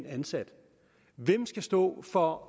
ansat hvem skal stå for